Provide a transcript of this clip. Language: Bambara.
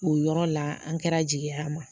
O yɔrɔ la an kɛra jigi y'an ma